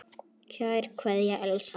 Kær kveðja, Elsa.